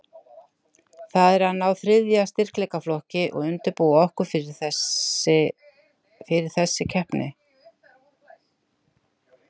Það er að ná þriðja styrkleikaflokki og undirbúa okkur fyrir þessi keppni.